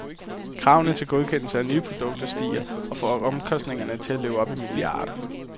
Kravene til godkendelse af nye produkter stiger og får omkostningerne til at løbe op i milliarder.